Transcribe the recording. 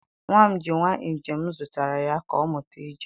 nwa m ji nwa ije m zụtara ya, ka ọ mụta ije.